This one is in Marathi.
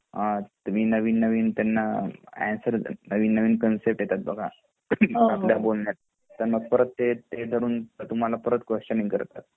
तुम्ही नवीन नवीन त्यांना आन्सर नवीन नवीन कन्सेप्ट येतात आपल्या बोलण्यात बघा त्यांना धरून ते तुम्हाला परत क्वश्च्निंग करतात